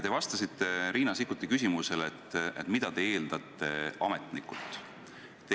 Te vastasite Riina Sikkuti küsimusele, mida te ametnikult eeldate.